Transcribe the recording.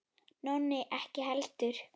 Nonni ekki heldur.